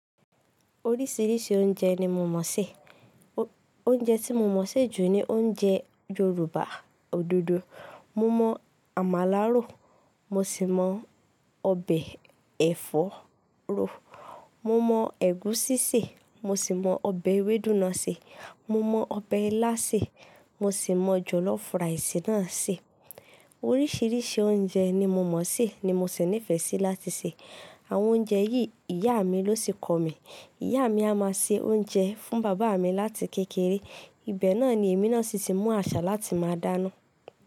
Oríṣiríṣi oúnjẹ ni mo mọ̀ sé. Oúnjẹ tí mo mọ̀ sé jù ni oúnjẹ Yorùbá òdodo. Mo mọ àmàlà rò, mo sì mọ ọbẹ̀ ẹ̀fọ́ rò, mo mọ ẹ̀gúsí sé, mo sì mọ ọbẹ̀ ewédú náà sé, mo mọ ọbẹ̀ ilá sé, mo sì mọ jọ̀lọ́fù ràìsì náà sé. Oríṣiríṣi oúnjẹ ni mo mọ̀ sé ni mo sì nífẹ̀ẹ́ sí láti sè. Àwọn oúnjẹ yìí ìyá mi ló sì kọ̀ mí. Ìyá mi a máa se oúnjẹ fún bàbá mi láti kékeré. Ibẹ̀ náà ni èmi náà sì ti mọ àṣà láti máa dáná.